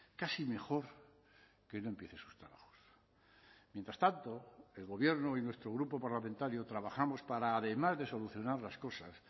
casi mejor que no empiece sus trabajos mientras tanto el gobierno y nuestro grupo parlamentario trabajamos para además de solucionar las cosas